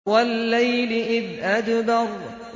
وَاللَّيْلِ إِذْ أَدْبَرَ